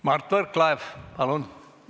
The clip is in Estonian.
Mart Võrklaev, palun!